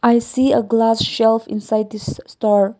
i see a glass shelf inside this store.